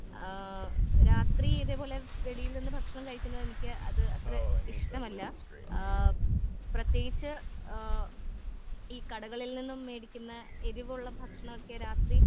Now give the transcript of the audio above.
ആ രാത്രി ഇതേപോലെ വെളിയിൽ നിന്ന് ഭക്ഷണം കഴിക്കുന്നത് എനിക്ക് അത് അത്രേ ഇഷ്ട്ടമല്ല ആ പ്രേതേകിച്ച് ആ ഈ കടകളിൽ നിന്നും വെടിക്കുന്ന എരിവുള്ള ഭക്ഷണൊക്കെ രാത്രി